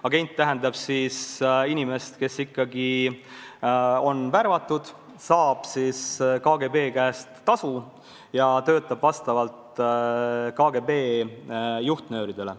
Agent tähendab inimest, kes on värvatud, saab KGB käest tasu ja töötab vastavalt KGB juhtnööridele.